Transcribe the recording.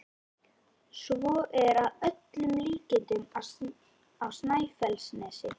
Svo er að öllum líkindum á Snæfellsnesi.